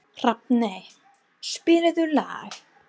Hrafney, spilaðu lag.